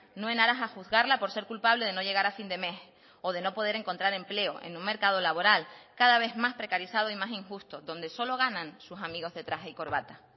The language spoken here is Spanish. no en aras a juzgarla por ser culpable de no llegar a fin de mes o de no poder encontrar empleo en un mercado laboral cada vez más precarizado y más injusto donde solo ganan sus amigos de traje y corbata